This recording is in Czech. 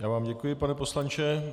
Já vám děkuji, pane poslanče.